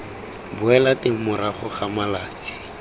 boela teng morago ga malatsi